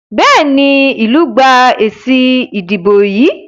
Béèni ilú gbà èsì ìdìbò yí.